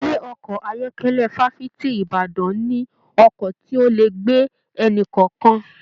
Ilé ọkọ ayọkẹlẹ Fafiti Ìbàdàn mí ọkọ tí o lè gbé ẹni-kọọkan.